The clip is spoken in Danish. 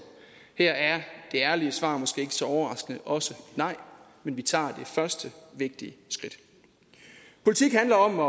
her er det ærlige svar måske ikke så overraskende også nej men vi tager det første vigtige skridt politik handler om at